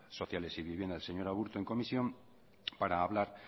sociales y vivienda el señor aburto en comisión para hablar